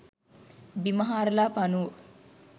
බිම හාරලා පණුවො